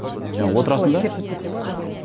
шертіліп кетеді ме білмеймін